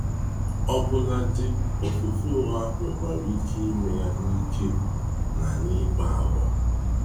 Ọbụladi ofufe ụgha nwekwara ike ime ya n’ike na n’ịkpa àgwà.